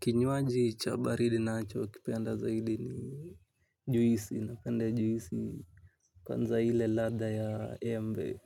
Kinywaji cha baridi nachokipenda zaidi ni juisi napenda juisi. Kwanza ile ladha ya embe.